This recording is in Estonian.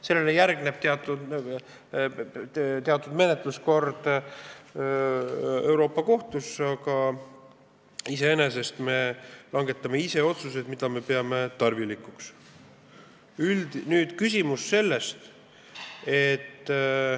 Sellele järgneb teatud menetluskord Euroopa Kohtus, aga iseenesest me langetame ise otsused, mida me tarvilikuks peame.